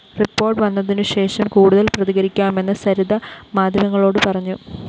report വന്നതിനുശേഷം കൂടുതല്‍ പ്രതികരിക്കാമെന്ന് സരിത മാധ്യമങ്ങളോട് പറഞ്ഞു